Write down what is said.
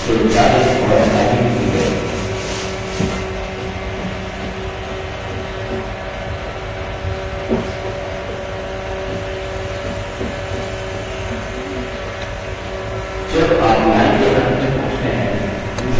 इसे मिटा दें और typing पूरी करें